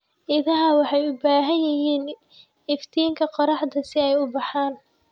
Idaha waxay u baahan yihiin iftiinka qorraxda si ay u koraan.